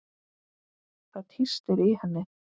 Það tístir í henni.